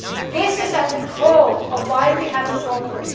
This is at the core of why we have a problem.